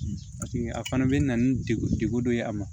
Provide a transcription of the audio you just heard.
a fana bɛ na ni degun degun dɔ ye a ma